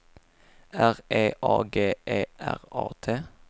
R E A G E R A T